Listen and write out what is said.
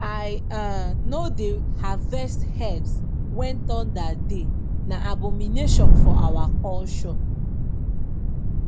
i um no dey harvest herbs when thunder dey na abomination for our culture